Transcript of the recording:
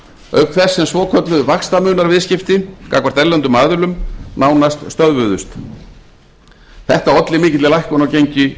auk þess sem svokölluð vaxtamunarviðskipti gagnvart erlendum aðilum nánast stöðvuðust þetta olli mikilli lækkun á gengi